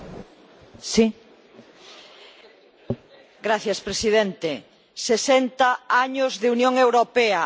Señor presidente. 60 años de Unión Europea nada que celebrar.